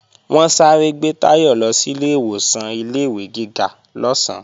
Wọ́n sáré gbé Táyọ̀ lọ sílé ìwọ̀san ilé-ìwé gíga lọ́sán